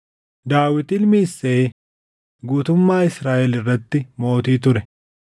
Daawit ilmi Isseey guutummaa Israaʼel irratti mootii ture.